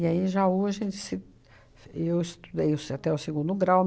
aí, em Jaú, a gente se... F eu estudei até o segundo grau.